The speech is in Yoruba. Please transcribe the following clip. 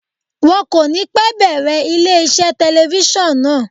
Wọ́n kò ní pẹ́ bẹ̀rẹ̀ ilé iṣẹ́ telifíṣàn náà.